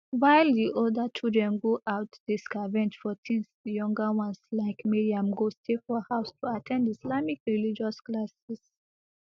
while di older children go out dey scavenge for tins di younger ones like mariam go stay for house to at ten d islamic religious classes